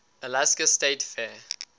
alaska state fair